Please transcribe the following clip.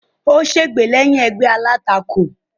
Ó sègbè lẹ́yìn ẹgbẹ́ alátakò.